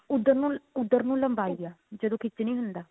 ਉੱਧਰ ਨੂੰ ਉੱਧਰ ਨੂੰ ਲੰਬਾਈ ਆ ਜਦੋਂ ਖਿੱਚ ਨਹੀਂ ਹੁੰਦਾ